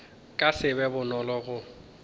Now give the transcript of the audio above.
ka se be bonolo go